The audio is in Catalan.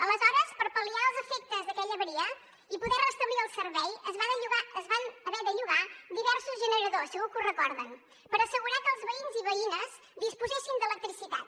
aleshores per pal·liar els efectes d’aquella avaria i poder restablir el servei es van haver de llogar diversos generadors segur que ho recorden per assegurar que els veïns i veïnes disposessin d’electricitat